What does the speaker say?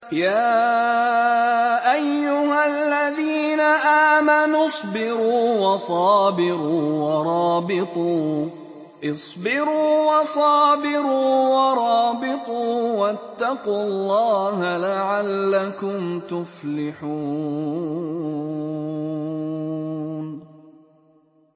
يَا أَيُّهَا الَّذِينَ آمَنُوا اصْبِرُوا وَصَابِرُوا وَرَابِطُوا وَاتَّقُوا اللَّهَ لَعَلَّكُمْ تُفْلِحُونَ